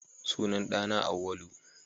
Sunan ɗa na Auwalu